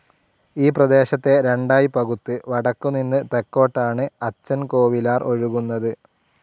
ഈപ്രദേശത്തെ രണ്ടായി പകുത്ത് വടക്കു നിന്ന് തെക്കൊട്ടാണ് അച്ചൻകോവിലാർ ഒഴുകുന്നത്.